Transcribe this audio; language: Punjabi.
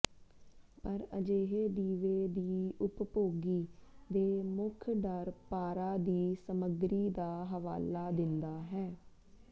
ਪਰ ਅਜਿਹੇ ਦੀਵੇ ਦੀ ਉਪਭੋਗੀ ਦੇ ਮੁੱਖ ਡਰ ਪਾਰਾ ਦੀ ਸਮੱਗਰੀ ਦਾ ਹਵਾਲਾ ਦਿੰਦਾ ਹੈ